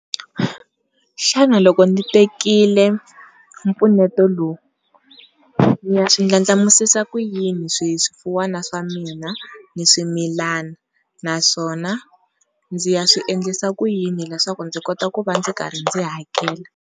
Xana loko ni tekile mpfuneto lowu ni ya swi ndlandlamuxisa ku yini swi swifuwana swa mina ni swimila, naswona ndzi ya swi endlisa ku yini leswaku ndzi kota ku va ndzi karhi ndzi hakela?